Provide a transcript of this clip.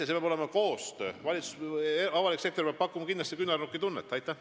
Siin peab olema koostöö ja avalik sektor peab kindlasti küünarnukitunnet pakkuma.